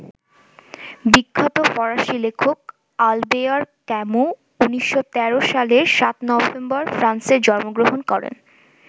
বিখ্যাত ফরাসি লেখক আলবেয়ার ক্যামু ১৯১৩ সালের ৭ নভেম্বর ফ্রান্সে জন্মগ্রহণ করেন।